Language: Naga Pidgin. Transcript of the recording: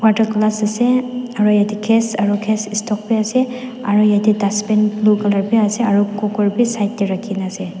tu glass ase aro yate gas aro gas stove bi ase aro yate dustbin blue colour bi ase aro cooker bi side te rakhi na ase.